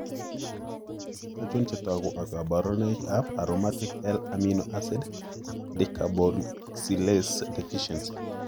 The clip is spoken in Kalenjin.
Achon chetogu ak kaborunik Aromatic L amino acid decarboxylase deficiency?